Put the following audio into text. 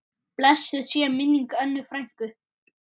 Blessuð sé minning Önnu frænku.